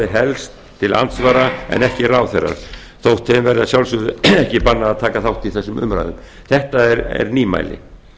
helst til andsvara en ekki ráðherrar þótt þeim verði að sjálfsögðu ekki bannað að taka þátt í þessum umræðum þetta er nýmæli